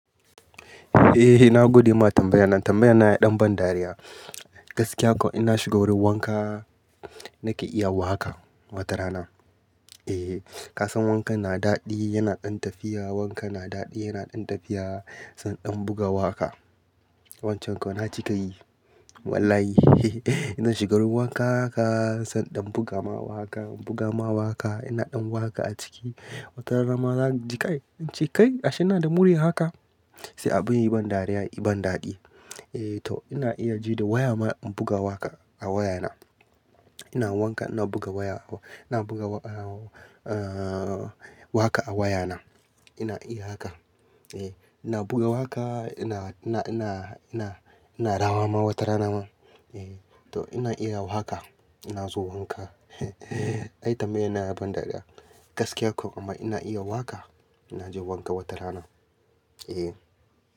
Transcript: Eh na gode ma tambayar nan. Tambayar na ya ɗan ban dariya. Gaskiya ko ina shiga wurin wanka nake iya wa haka watarana. Eh, ka san wanka yana daɗi, yana ɗan tafiya, wanka yana daɗi, yana ɗan tafiya, sanda in buga waƙa. Wancan ko na cika yi. Wallahi ina shiga wurin wanka haka sanda in buga ma waƙa, buga ma waƙa. Ina ɗan waƙa a ciki. Watarana ma zan sai inji kai ashe n'na da muriya haka. Sai abin yi ban dariya, yi ban daɗi. Eh to ina iya ji da waya ma in buga waƙa a wayana. Ina wanka ina buga waya a waya, ina buga a, a, waƙa a wayana. Ina iya haka. Eh ina buga waƙa ina, ina, ina, ina, ina rawa ma watarana ma. Eh to ina iya waka. Inna zo wanka ai tambayar yana ban dariya. Gaskiya ko amma ina iya waƙa. Na ji wanka watarana. Eh.